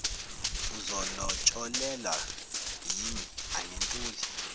uzolotsholelwa yimi angintuli